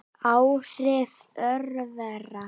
Áhrif örvera